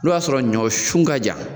O y'a sɔrɔ ɲɔ sun ka jan